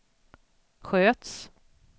sköts